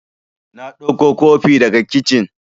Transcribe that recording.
Na ɗauko kofi daga kicin